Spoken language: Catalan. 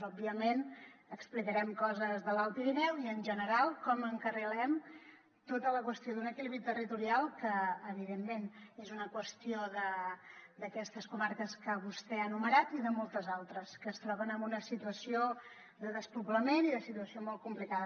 òbviament explicarem coses de l’alt pirineu i en general com encarrilem tota la qüestió d’un equilibri territorial que evidentment és una qüestió d’aquestes comarques que vostè ha enumerat i de moltes altres que es troben en una situació de despoblament i molt complicada